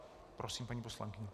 Prosím, paní poslankyně.